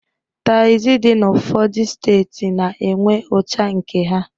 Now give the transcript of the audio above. Taxị dị n'ụfọdụ steeti na-enwe ucha nke ha.